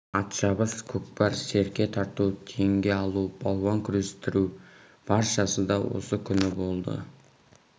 ат шабыс көкпар серке тарту теңге алу балуан күрестіру баршасы да осы күні болды